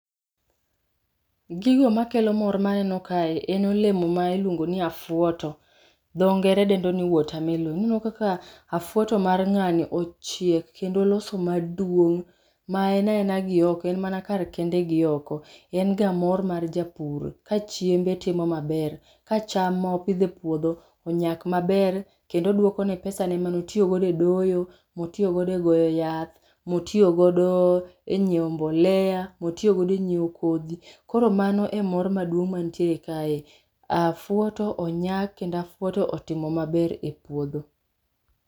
Gigo makelo mor maneno kae ien olemo miluongo ni afuoto. Ma dho ngere dendo ni water melon. Ineno kaka afuoto mar ng'amni ochiek kendo oloso maduong'. Ma en aena gioko en mana kar kende gioko. En ga mor mar japur. Kachiembe timo maber, ka cham mopidho epuodho onyak maber kendo duokone pesa ne mane otiyo go edoyo, otiyo godo e goyo yath, motiyo godo e nyieo mbolea, miotiyo godo enyiewo kodhi. Koro magi e mor maduong' man tie kae. Afuoto onyak kendo afuoto otimo mabere puodho.